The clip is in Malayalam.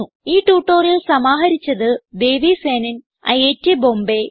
ഈ ട്യൂട്ടോറിയൽ സമാഹരിച്ചത് ദേവി സേനൻ ഐറ്റ് ബോംബേ